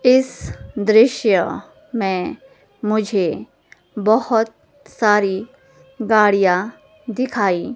इस दृश्य में मुझे बहोत सारी गाड़ियां दिखाई--